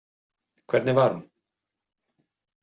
Hvernig var hún?